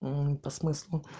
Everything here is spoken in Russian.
мм по смыслу